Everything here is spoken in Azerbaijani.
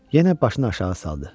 Yenə başını aşağı saldı.